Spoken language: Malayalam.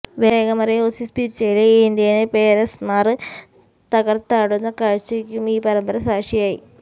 വേഗമറിയ ഓസീസ് പിച്ചില് ഇന്ത്യന് പേസര്മാര് തകര്ത്താടുന്ന കാഴ്ചയ്ക്കും ഈ പരമ്പര സാക്ഷിയായി